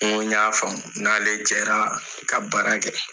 N ko n y'a faamu n n'ale jɛra ka baara kɛ.